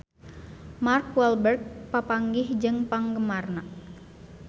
Mark Walberg papanggih jeung penggemarna